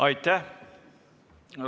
Aitäh!